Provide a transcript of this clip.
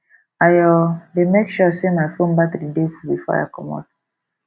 i um dey make sure sey my fone battery dey full before i comot